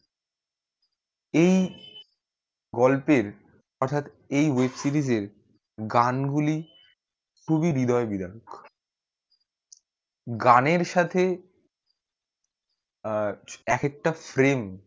এই গল্পের অর্থাৎ এই web series এর গানগুলি খুবই হৃদয় বিদারক গানের সাথে আহ এক একটা frame